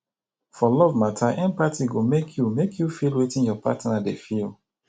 for love matter empathy go make you make you feel wetin your partner dey feel